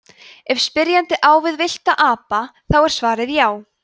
ef spyrjandi á við villta apa þá er svarið já